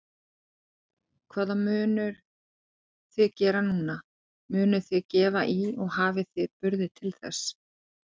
Hvað munuð þið gera núna, munuð þið gefa í og hafið þið burði til þess?